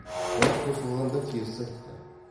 бірақ қосылғанда теріс айтты